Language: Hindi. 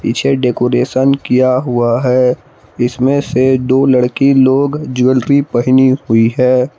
छे डेकोरेशन किया हुआ है इसमें से दो लड़की लोग ज्वैलरी पहनी हुई है।